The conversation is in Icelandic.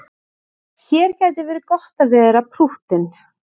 Hér gæti verið gott að vera prúttinn.